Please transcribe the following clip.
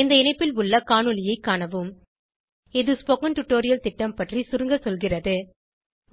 இந்த இணைப்பில் உள்ள காணொளியைக் காணவும் இது ஸ்போகன் டுடோரியல் திட்டம் பற்றி சுருங்க சொல்கிறது